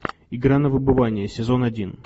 игра на выбывание сезон один